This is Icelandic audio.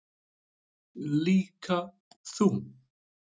Líka þú.